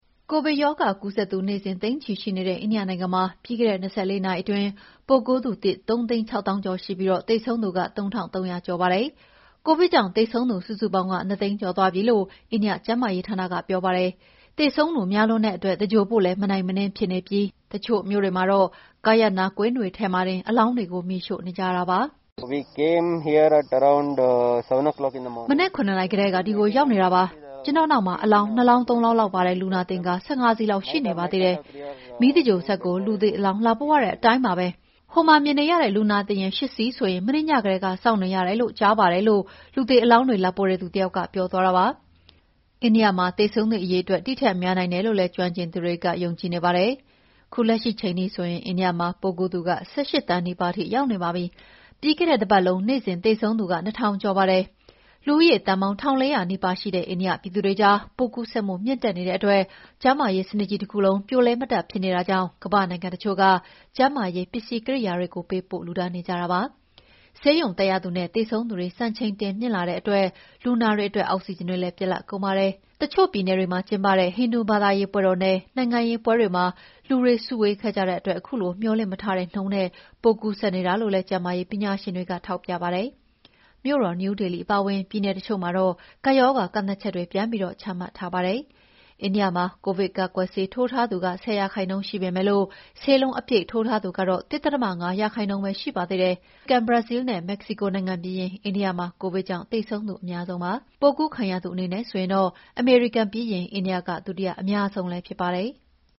ကိုဗစ်ရောဂါကူးသူ နေ့စဉ်သိန်းချီရှိနေတဲ့ အိန္ဒိယနိုင်ငံမှာ ပြီးခဲ့တဲ့ ၂၄ နာရီအတွင်း ပိုးကူးသူသစ် ၃၆၀,၀၀၀ ကျော်ရှိပြီး သေဆုံးသူ ၃,၃၀၀ ကျော်ရှိပါတယ်။ ကိုဗစ်ကြောင့်သေဆုံးသူ စုစုပေါင်း ၂၀၀,၀၀၀ ကျော်သွားပြီလို့ အိန္ဒိယကျန်းမာရေးဌာနက ပြောပါတယ်။ သေဆုံးသူများလွန်းတဲ့အတွက် သဂြိၤုလ်ဖို့လည်း မနိုင်မနင်းဖြစ်နေပြီး တချို့မြို့တွေမှာတော့ ကားရပ်နားကွင်းတွေထဲမှာတင် အလောင်းတွေကို မီးရှို့နေကြရပါတယ်။ “မနက် ၇ နာရီကတည်းက ဒီကိုရောက်နေတာပါ။ ကျနော့်နောက်မှာ အလောင်း ၂ လောင်း၊ ၃ လောင်းလောက်ပါတဲ့ လူနာတင်ကား ၁၅ စီးလောက်ရှိနေပါသေးတယ်။ မီးသဂြိၤုလ်စက်ကို လူသေအလောင်း လာပို့ရတဲ့အတိုင်းပါပဲ။ ဟိုမှာမြင်နေရတဲ့ လူနာတင်ယာဉ် ၈ စီးဆိုရင် မနေ့ညကတည်းက စောင့်နေရတယ်လို့ ကြားပါတယ်။” လို့ လူသေအလောင်းတွေလာပို့တဲ့ သူတယောက်ကပြောသွားတာပါ။ သေဆုံးသူအရေအတွက် ဒီထက်များနိုင်တယ်လု့ိ ကျွမ်းကျင်သူတွေ ယုံကြည်နေကြပါတယ်။ အိန္ဒိယမှာ ပိုးကူးသူ ၁၈ သန်းနီးပါးရောက်နေပါပြီ။ ပြီးခဲ့တဲ့ တပတ်လုံးနေ့စဉ်သေဆုံးသူ ၂,၀၀၀ ကျော်ပါတယ်။ လူဦးရေသန်းပေါင်း ၁,၄၀၀ နီးပါး ရှိတဲ့ အိန္ဒိယပြည်သူတွေကြား ပိုးကူးစက်မှုမြင့်တက်နေတဲ့အတွက် ကျန်းမာရေးစနစ်ကြီး တခုလုံး ပြိုလဲ မတတ်ဖြစ်နေတာကြောင့် ကမ္ဘာ့နိုင်ငံတချို့က ကျန်းမာရေးပစ္စည်း ကိရိယာတွေ ပေးပို့လှုဒါန်းနေကြပါတယ်။ ဆေးရုံတက်ရသူနဲ့ သေဆုံးသူတွေ စံချိန်တင်မြင့်တက်လာတဲ့အတွက် လူနာတွေအတွက် အောက်ဆီဂျင်တွေလည်း ပြတ်လတ်ကုန်ပါတယ်။ တချို့ပြည်နယ်တွေမှာ ကျင်းပတဲ့ ဟိန္ဒူဘာသာရေးပွဲတော်နဲ့ နိုင်ငံရေးပွဲတွေမှာ လူတွေ စုဝေးခဲ့ကြတဲ့အတွက် ခုလိုမေ ျှာ်လင့်မထားတဲ့နှုန်းနဲ့ ပိုးကူးစက်နေတာလို့လည်း ကျန်းမာရေးပညာရှင်တွေကပြောပါတယ်။ မြို့တော်နယူးဒေလီအပါအဝင် ပြည်နယ်တချို့မှာတော့ ကပ်ရောဂါကန့်သတ်ချက်တွေ ပြန်ပြီး ချမှတ်ထားပါတယ်။ အိန္ဒိယမှာ ကိုဗစ်ကာကွယ်ဆေးထိုးထားသူ ၁၀ ရာခိုင်နှုန်းရှိပေမဲ့ ဆေးလုံးအပြည့်ထိုးထားသူက ၁.၅ ရာခိုင်နှုန်းပဲရှိပါတယ်။ အမေရိကန်၊ ဘရာဇီးလ်နဲ့ မက္ကဆီကိုနိုင်ငံပြီးရင် အိန္ဒိယက သေဆုံးသူ အများဆုံးပါ။ ပိုးကူးခံရသူအနေနဲ့ဆိုရင်တော့ အမေရိကန်ပြီးရင် အိန္ဒိယက ဒုတိယအများဆုံးဖြစ်ပါတယ်။